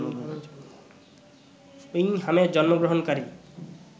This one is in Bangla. উইংহ্যামে জন্মগ্রহণকারী